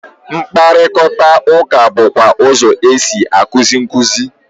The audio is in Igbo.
Mkparịkọtaụka bụkwa ụzọ e si a kuzi nkuzi.